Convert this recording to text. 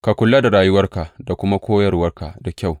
Ka kula da rayuwarka da kuma koyarwarka da kyau.